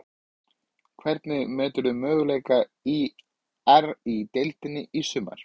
Hvernig meturðu möguleika ÍR í deildinni í sumar?